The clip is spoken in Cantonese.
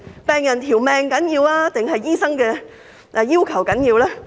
病人的生命重要，還是醫生的要求重要？